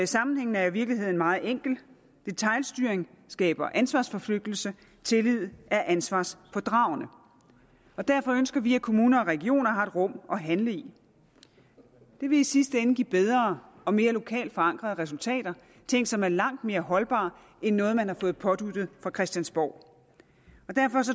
sammenhængen er i virkeligheden meget enkel detailstyring skaber ansvarsforflygtigelse tillid er ansvarspådragende derfor ønsker vi at kommuner og regioner har et rum at handle i det vil i sidste ende give bedre og mere lokalt forankrede resultater ting som er langt mere holdbare end noget man har fået påduttet fra christiansborg derfor